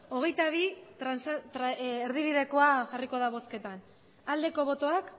erdibidekoa jarriko da bozketan aldeko botoak